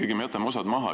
Aga meie jätame osa maha.